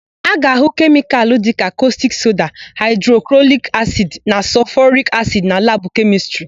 A ga-ahụ kemịkalụ dịka kọstik soda, haịdroklorik asidi na sọlfọrik asidi na labụ Kemịstrị.